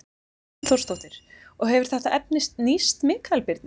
Hrund Þórsdóttir: Og hefur þetta efni nýst Mikael Birni?